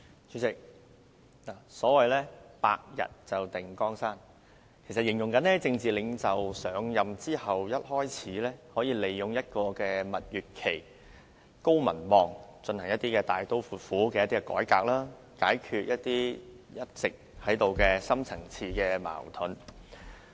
主席，所謂"百日定江山"，其實是指政治領袖上任後，可利用就任初期的蜜月期，以高民望進行大刀闊斧的改革，解決一直存在的深層次矛盾。